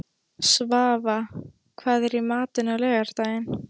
Svava, hvað er í matinn á laugardaginn?